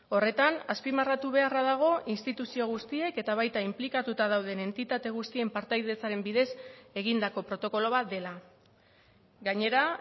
horretan azpimarratu beharra dago instituzio guztiek eta baita inplikatuta dauden entitate guztien partaidetzaren bidez egindako protokolo bat dela gainera